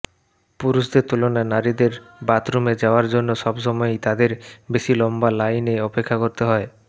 পুরুষদের তুলনায় নারীদের বাথরুমে যাওয়ার জন্য সবসময়েই তাদের বেশি লম্বা লাইনে অপেক্ষা করতে হয়